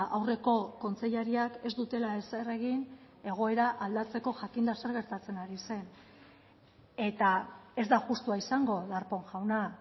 aurreko kontseilariak ez dutela ezer egin egoera aldatzeko jakinda zer gertatzen ari zen eta ez da justua izango darpón jauna